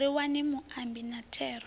ri wane muambi na thero